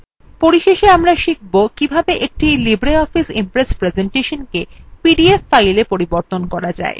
পরিশেষে আমরা শিখব কিভাবে একটি libreoffice impress প্রেসেন্টেশনকে pdf file পরিবর্তন করা যায়